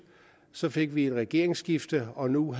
så fik vi et regeringsskifte og nu en